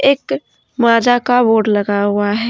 एक माझा का बोर्ड लगा हुआ है।